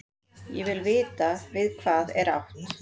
Ég vil vita við hvað er átt.